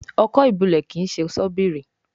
Ọkọ́ ìbulẹ̀ kín ṣe Ṣọ́bìrì